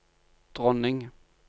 dronning